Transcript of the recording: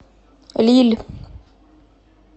лилль